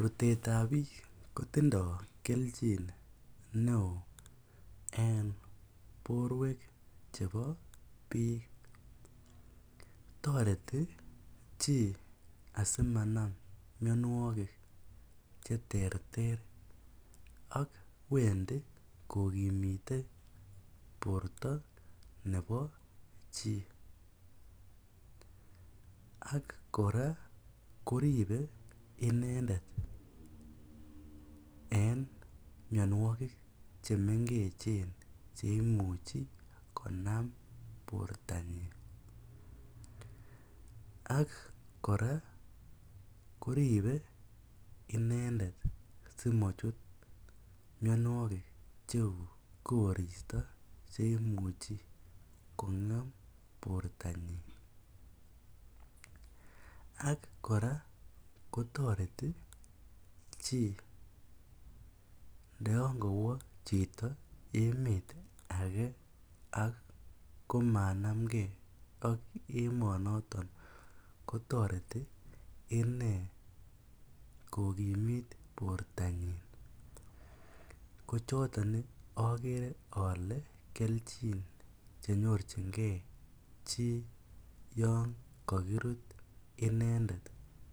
Rutetab biik kotindo kelchin neoo en borwek chebo biik, toreti chii asimanam mionwokik cheterter ak wendi kokimite borto nebo chii, ak kora koribe inendet en mionwokik chemengechen cheimuchi konam bortanyin ak kora koribe inendet simochut mionwokik cheuu koristo cheimuche kongem bortanyin ak kora kotoreti chii ndo yoon kowo chito emet akee ako ko manamnge ak emonoton kotoreti inee kokimit bortanyin, kochoton okere olee kelchin chenyorchinge chii yoon kokirut inendet